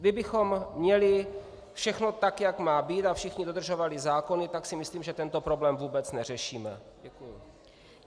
Kdybychom měli všechno tak, jak má být, a všichni dodržovali zákony, tak si myslím, že tento problém vůbec neřešíme.